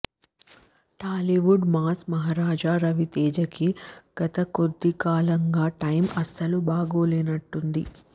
Tollywood mass Maharaja రవితేజకి గత కొద్దికాలంగా టైమ్ అస్సలు బాగోలేనట్టుంది